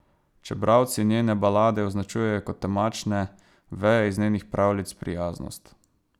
Če bralci njene balade označujejo kot temačne, veje iz njenih pravljic prijaznost.